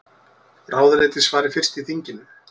Ráðuneyti svari fyrst í þinginu